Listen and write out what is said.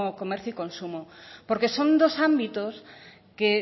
comercio y consumo porque son dos ámbitos que